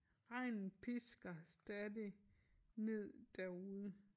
Regnen pisker stadig ned derude